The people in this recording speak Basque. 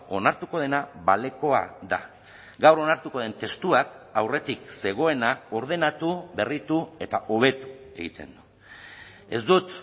onartuko dena balekoa da gaur onartuko den testuak aurretik zegoena ordenatu berritu eta hobetu egiten du ez dut